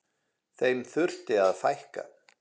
Þeim þurfi að fækka.